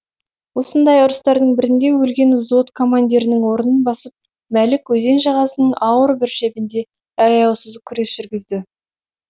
осындай ұрыстардың бірінде өлген взвод командирінің орнын басып мәлік өзен жағасының ауыр бір шебінде аяусыз күрес жүргізді